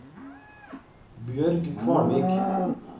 Bjørg Kvalvik